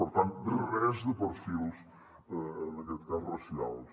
per tant res de perfils en aquest cas racials